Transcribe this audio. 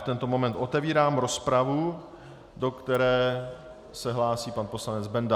V tento moment otevírám rozpravu, do které se hlásí pan poslanec Benda.